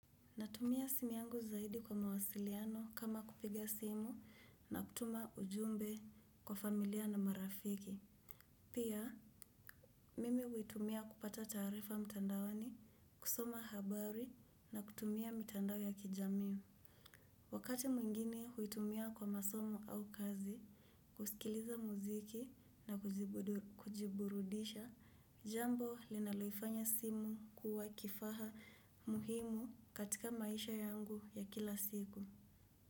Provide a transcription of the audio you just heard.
Natumia simu yangu zaidi kwa mawasiliano kama kupiga simu na kutuma ujumbe kwa familia na marafiki. Pia, mimi huitumia kupata taarifa mtandaoni, kusoma habari na kutumia mitandao ya kijamii. Wakati mwingine huitumia kwa masomu au kazi, kusikiliza muziki na kujiburudisha, jambo linaloifanya simu kuwa kifaa muhimu katika maisha yangu ya kila siku.